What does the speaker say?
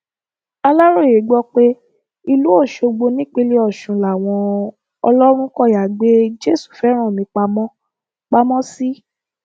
aláròye gbọ pé ìlú ọṣọgbó nípínlẹ ọsùn làwọn ọlọrunkọyà gbé jésùfẹránmi pamọ pamọ sí